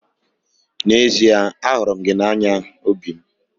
N'ezie ahụrụ m gị n'anya obi m.